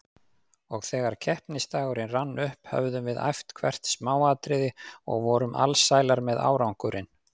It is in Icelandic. Og þegar keppnisdagurinn rann upp höfðum við æft hvert smáatriði og vorum alsælar með árangurinn.